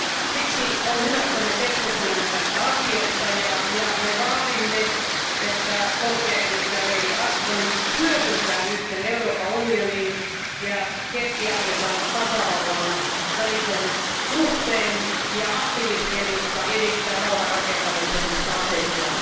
Siksi on hyvä, että me keskustelemme tästä asiasta, ja me vaadimme, että korkea edustaja lady Ashton hyödyntää nyt Euroopan unionin ja Keski Afrikan tasavallan välisen suhteen ja aktiivisesti edistää rauhan rakentamisen strategiaa.